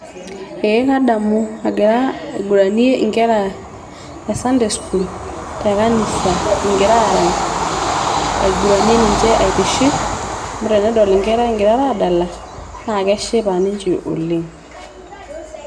Ee kadamu agira aiguranie inkera e sunday school te kanisa kingira arany ainguranie niche aitiship amu tenedol inkera ingirara adala naa keshipa ninche oleng